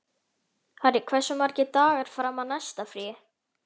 Harry, hversu margir dagar fram að næsta fríi?